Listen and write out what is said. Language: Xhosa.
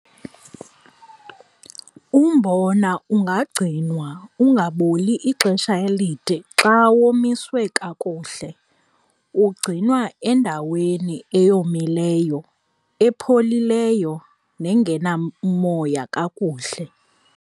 Umbona ungagcinwa ungaboli ixesha elide xa womiswe kakuhle. Ugcinwa endaweni eyomileyo, epholileyo nengenamoya kakuhle.